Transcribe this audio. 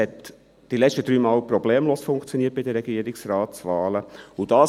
Die letzten drei Male funktionierte es bei den Regierungsratswahlen problemlos.